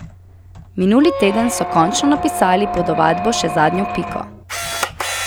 Minuli teden so končno napisali pod ovadbo še zadnjo piko.